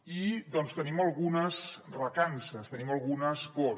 i tenim algunes recances tenim algunes pors